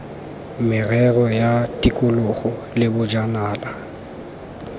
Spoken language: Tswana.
merero ya tikologo le bojanala